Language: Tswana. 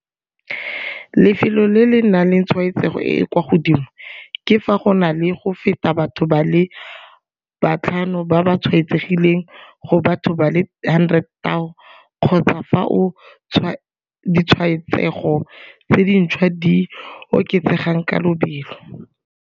Lefelo le le nang le tshwaetsego e e kwa godimo ke fa go na le go feta batho ba le batlhano ba ba tshwaetsegileng go batho ba le 100 000 kgotsa fao ditshwaetsego tse dintšhwa di oketsegang ka lobelo.